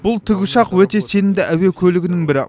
бұл тікұшақ өте сенімді әуе көлігінің бірі